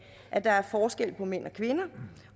at der er forskel på mænd og kvinder